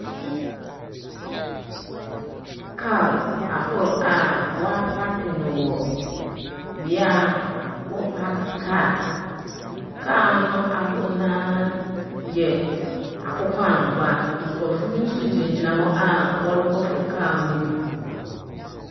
Kaar ahorow a wɔapaake no wɔ bea a wɔpaake kaar. Kaar no ahorow no ara yɛ akokɔangoa. Nkorcfo bi gyinagyina hɔ a wɔrokɔfow kaar no bi.